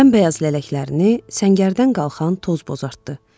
Bəmbəyaz lələklərini səngərdən qalxan toz bozartdı.